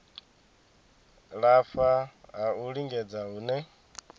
lafha ha u lingedza hune